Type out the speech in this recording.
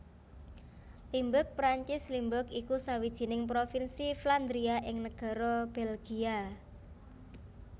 Limburg Perancis Limbourg iku sawijining provinsi Flandria ing negara Belgia